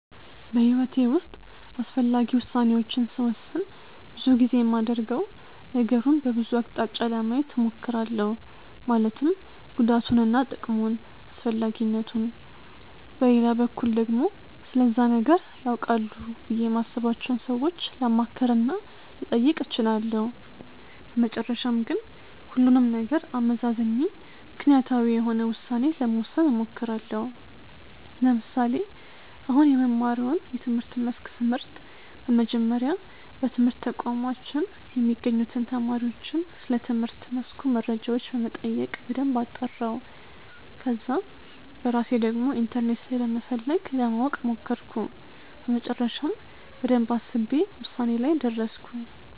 በሕይወቴ ውስጥ አስፈላጊ ውሣኔዎችን ስወስን ብዙ ጊዜ የማደርገው ነገሩን በብዙ አቅጣጫ ለማየት እሞክራለሁ ማለትም ጉዳቱንና ጥቅሙን፣ አስፈላጊነቱን። በሌላ በኩል ደግሞ ስለዛ ነገር ያውቃሉ ብዬ የማስባቸውን ሰዎች ላማክር እና ልጠይቅ እችላለሁ። በመጨረሻም ግን ሁሉንም ነገር አመዛዝኜ ምክንያታዊ የሆነ ውሳኔ ለመወሰን እሞክራለሁ። ለምሳሌ፦ አሁን የምማረውን የትምህርት መስክ ስመርጥ፤ በመጀመሪያ በትምህርት ተቋማችን የሚገኙትን ተማሪዎችን ስለትምህርት መስኩ መረጃዎች በመጠየቅ በደንብ አጣራሁ። ከዛ በራሴ ደግሞ ኢንተርኔት ላይ በመፈለግ ለማወቅ ሞከርኩ፤ በመጨረሻም በደንብ አስቤ ውሳኔ ላይ ደረስኩ።